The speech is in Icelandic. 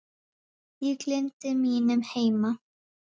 Ég gleymdi mínum heima